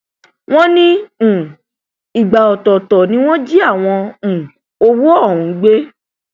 wọn ní um ìgbà ọtọọtọ ni wọn jí àwọn um owó ọhún gbé